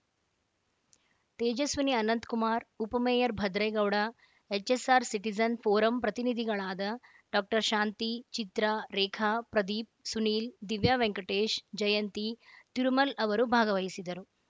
ತೇಜಸ್ವಿನಿ ಅನಂತ್‌ಕುಮಾರ್‌ ಉಮಮೇಯರ್‌ Bhadregowda HSR citizen forum ಪ್ರತಿನಿಧಿಗಳಾದ doctor Shanti Chitra Rekha Pradeep Sunil Divya Venkatesh Jayanthi Tirumal ಅವರು ಭಾಗವಹಿಸಿದರು